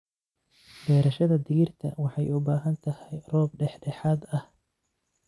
Beerashada digirta waxay u baahan tahay roob dhexdhexaad ah.